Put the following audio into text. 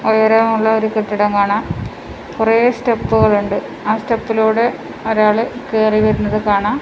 ഉയരമുള്ള ഒരു കെട്ടിടം കാണാം കുറെ സ്റ്റെപ്പുകൾ ഉണ്ട് ആ സ്റ്റെപ്പിലൂടെ ഒരാള് കേറി വരുന്നത് കാണാം.